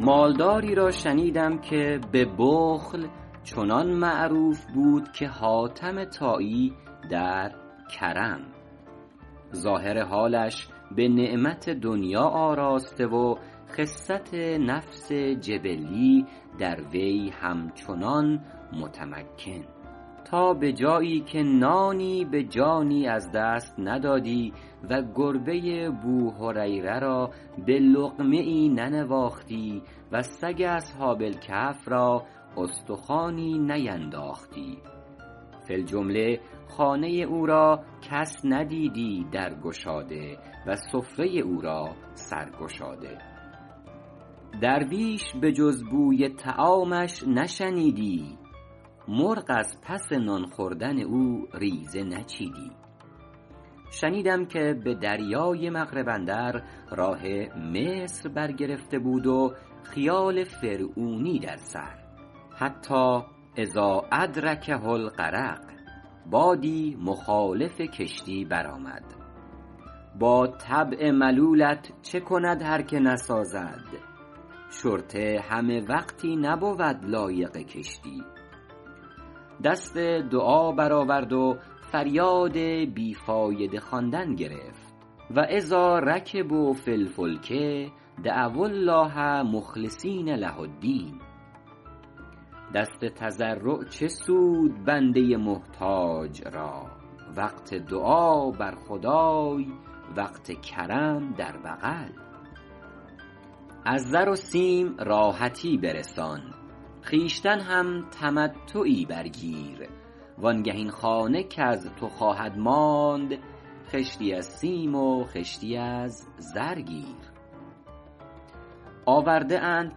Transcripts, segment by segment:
مال داری را شنیدم که به بخل چنان معروف بود که حاتم طایی در کرم ظاهر حالش به نعمت دنیا آراسته و خست نفس جبلی در وی همچنان متمکن تا به جایی که نانی به جانی از دست ندادی و گربه بوهریره را به لقمه ای ننواختی و سگ اصحاب الکهف را استخوانی نینداختی فی الجمله خانه او را کس ندیدی در گشاده و سفره او را سر گشاده درویش به جز بوی طعامش نشنیدی مرغ از پس نان خوردن او ریزه نچیدی شنیدم که به دریای مغرب اندر راه مصر بر گرفته بود و خیال فرعونی در سر حتیٰ اذا ادرکه الغرق بادی مخالف کشتی برآمد با طبع ملولت چه کند هر که نسازد شرطه همه وقتی نبود لایق کشتی دست دعا برآورد و فریاد بی فایده خواندن گرفت و اذا رکبوا فی الفلک دعو الله مخلصین له الدین دست تضرع چه سود بنده محتاج را وقت دعا بر خدای وقت کرم در بغل از زر و سیم راحتی برسان خویشتن هم تمتعی بر گیر وآن گه این خانه کز تو خواهد ماند خشتی از سیم و خشتی از زر گیر آورده اند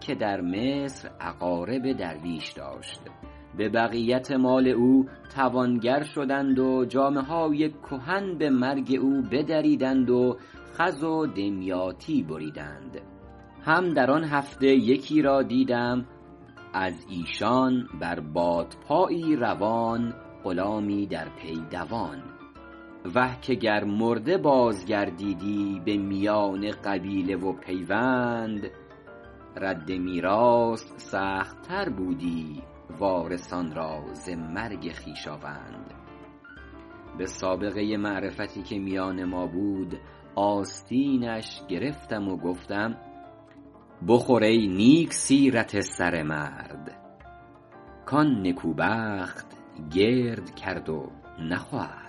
که در مصر اقارب درویش داشت به بقیت مال او توانگر شدند و جامه های کهن به مرگ او بدریدند و خز و دمیاطی بریدند هم در آن هفته یکی را دیدم از ایشان بر بادپایی روان غلامی در پی دوان وه که گر مرده باز گردیدی به میان قبیله و پیوند رد میراث سخت تر بودی وارثان را ز مرگ خویشاوند به سابقه معرفتی که میان ما بود آستینش گرفتم و گفتم بخور ای نیک سیرت سره مرد کان نگون بخت گرد کرد و نخورد